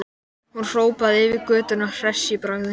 Hún hrópaði yfir götuna hress í bragði.